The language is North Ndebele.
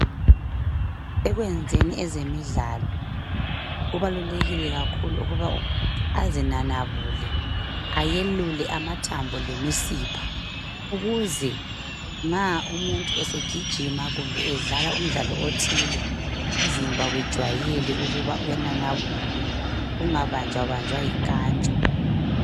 Ekwenzeni ezemidlalo, kubalulekile kakhulu ukuba umuntu azinanabule. Ayelule amathambo lemisipha. Ukuze nxa umuntu esegijima, kumbe edlala umdlalo othile. Umzimba ujwayele ukuthi uyananabulwa. Ungabanjwabanjwa yinkantsho.